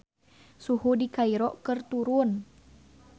Suhu di Kairo keur turun